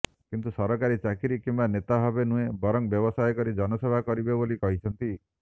କିନ୍ତୁ ସରକାରୀ ଚାକିରି କିମ୍ବା ନେତା ଭାବେ ନୁହେଁ ବରଂ ବ୍ୟବସାୟ କରି ଜନସେବା କରିବେ ବୋଲି କହିଛନ୍ତି